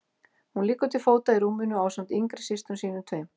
Hún liggur til fóta í rúminu ásamt yngri systrum sínum tveim.